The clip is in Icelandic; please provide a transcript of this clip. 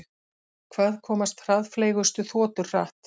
Hvað komast hraðfleygustu þotur hratt?